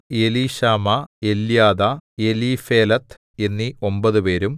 എലീശാമാ എല്യാദാ എലീഫേലെത്ത് എന്നീ ഒമ്പതുപേരും